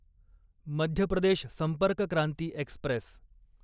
Madhya Pradesh Sampark Kranti Express